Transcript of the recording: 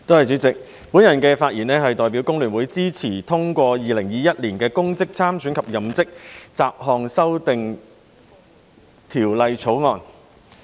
代理主席，我代表工聯會發言支持通過《2021年公職條例草案》。